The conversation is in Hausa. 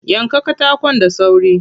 Yanka katakon da sauri.